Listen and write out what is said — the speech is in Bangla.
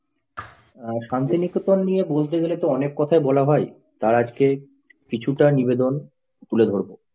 শান্তিনিকেতন নিয়ে বলতে গেলে তো অনেক কথাই বলা হয় তার আজকে কিছুটা নিবেদন তুলে ধরবো।